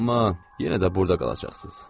Amma yenə də burada qalacaqsınız.